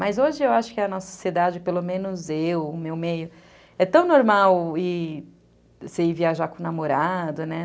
Mas hoje, eu acho que a nossa sociedade, pelo menos eu, o meu meio, é tão normal você ir viajar com o namorado, né?